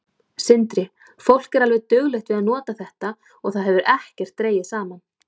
Sindri: Fólk er alveg duglegt við að nota þetta og það hefur ekkert dregið saman?